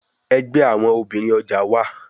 Ẹgbẹ awọn obinrin ọja wa